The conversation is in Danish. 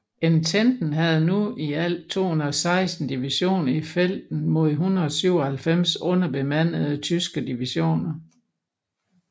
Ententen havde nu i alt 216 divisioner i felten mod 197 underbemandede tyske divisioner